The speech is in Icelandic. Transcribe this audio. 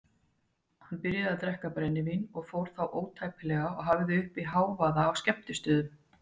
Hann byrjaði að drekka brennivín og fór þá ótæpilega og hafði uppi hávaða á skemmtistöðum.